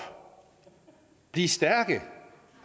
blive stærke